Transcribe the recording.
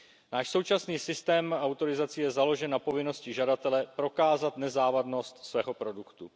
Náš současný systém autorizací je založen na povinnosti žadatele prokázat nezávadnost svého produktu.